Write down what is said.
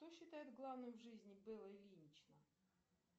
что считает главным в жизни белла ильинична